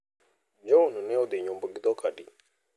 John ne odhi nyombo gi dhok adi?